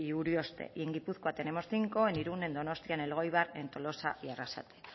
urioste y en gipuzkoa tenemos cinco en irún en donostia en elgoibar en tolosa y arrasate